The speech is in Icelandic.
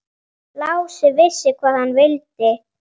Lási vissi hvað hann vildi.